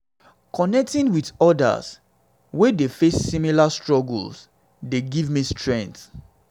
connecting with odas um wey dey face similar struggles dey give me strength.